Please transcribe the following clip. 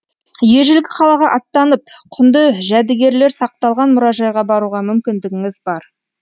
ежелгі қалаға аттанып құнды жәдігерлер сақталған мұражайға баруға мүмкіндігіңіз бар